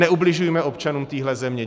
Neubližujme občanům téhle země.